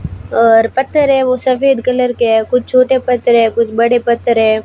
और पत्थर है वो सफेद कलर के है कुछ छोटे पत्थर है कुछ बड़े पत्थर है।